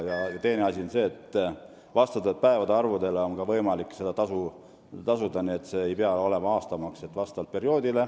Teine asi on, et seda maksu on võimalik tasuda ka vastavalt päevade arvule, see ei pea olema aastamaks.